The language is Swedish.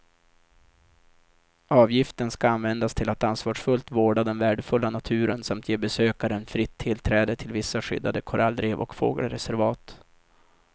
Avgiften ska användas till att ansvarsfullt vårda den värdefulla naturen samt ge besökaren fritt tillträde till vissa skyddade korallrev och fågelreservat.